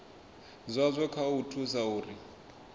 zwazwo kha u thusa uri